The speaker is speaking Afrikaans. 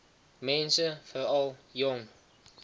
mense veral jong